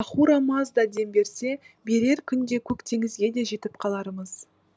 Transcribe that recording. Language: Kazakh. ахура мазда дем берсе берер күнде көк теңізге де жетіп қалармыз